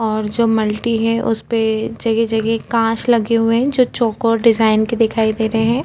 और जो मल्टी है उसपे जगह -जगह काँच लगे हुए है जो चोकोर डिज़ाइन के दिखाई दे रहे हैं ।